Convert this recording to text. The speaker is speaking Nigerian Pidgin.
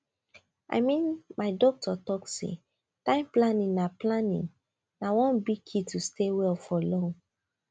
i mean my doctor talk say time planning na planning na one big key to stay well for long